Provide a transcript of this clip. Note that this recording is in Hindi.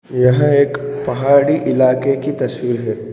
यह एक पहाड़ी इलाके की तस्वीर है।